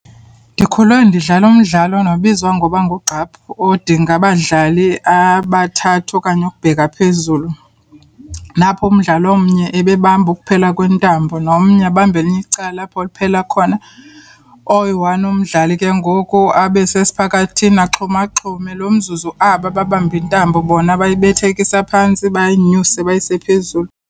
Ndikhule ndidlala umdlalo nobizwa ngoba ngugqaphu odinga abadlali abathathu okanye ukubheka phezulu. Lapho umdlalo omnye ebebamba ukuphela kwentambo, nomnye abambe elinye icala apho liphela khona. Oyi-one umdlali ke ngoku abe sesiphakathini axhumaxhume. Lo mzuzu aba babambe intambo bona bayibethekisa phantsi, bayinyuse bayise phezulu.